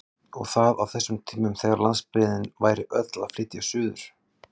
Og það á þessum tímum þegar landsbyggðin væri öll að flytja suður!